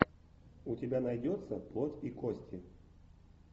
у тебя найдется плоть и кости